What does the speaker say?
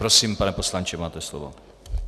Prosím, pane poslanče, máte slovo.